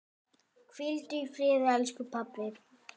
Hvíldu í friði elsku pabbi.